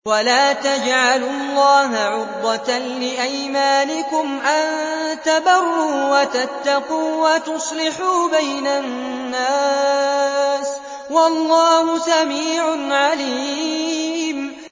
وَلَا تَجْعَلُوا اللَّهَ عُرْضَةً لِّأَيْمَانِكُمْ أَن تَبَرُّوا وَتَتَّقُوا وَتُصْلِحُوا بَيْنَ النَّاسِ ۗ وَاللَّهُ سَمِيعٌ عَلِيمٌ